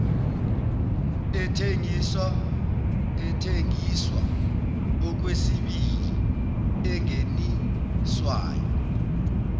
ethengiswa okwesibili engeniswayo